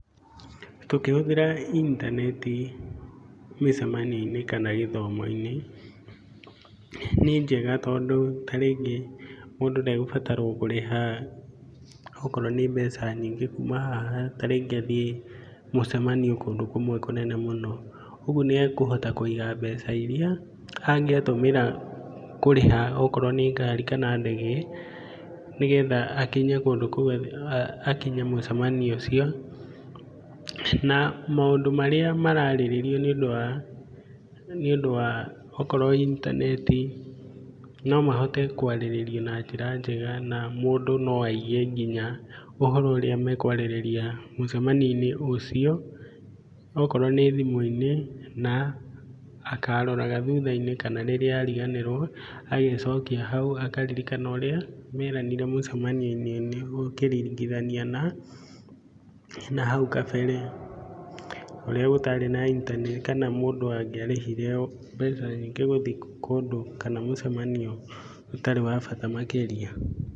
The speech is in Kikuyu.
Tũkĩhũthĩra intaneti mĩcemanio-inĩ kana gĩthomo-inĩ nĩ njega tondũ ta rĩngĩ mũndũ ndegũbatarwo kũrĩha okorwo nĩ mbeca nyingĩ kuma haha tarĩngĩ athiĩ mũcemanio kũndũ kũmwe kũnene mũno. Ũguo nĩ ekũhota kũiga mbeca iria angĩatũmĩra kũrĩha okorwo nĩ ngari kana ndege nĩ getha akinye kũndũ kũu akinye mũcemanio ũcio. Na maũndũ marĩa mararĩrĩrio nĩ ũndũ wa okorwo intaneti no mahote kwarĩrĩrio na njĩra njega na mũndũ no aige nginya çũhoro ũrĩa mekũarĩrĩria mũcemanio-inĩ ũcio. Okorwo nĩ thimũ-inĩ na akaroraga thutha-inĩ kana rĩrĩa ariganĩrwo agecokia hau akaririkana ũrĩa meranire mũcemanio-inĩ. Nĩguo ũkĩringithania na nahau kabere kũrĩa gũtarĩ na intaneti kana mũndũ angĩarĩhire mbeca nyingĩ gũthiĩ kũndũ kana mũcemanio ũtarĩ wa bata makĩria.